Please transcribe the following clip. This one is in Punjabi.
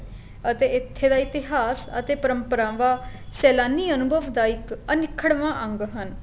ਅਤੇ ਇੱਥੇ ਦਾ ਇਤਿਹਾਸ ਅਤੇ ਪਰਮਪਰਾਵਾ ਸੇਲਾਨੀ ਅਨੁਭਵ ਦਾ ਇੱਕ ਅਨਿਖੜਵਾ ਅੰਗ ਹਨ